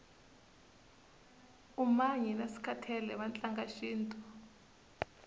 umanyi naskhathele vatlanga shintu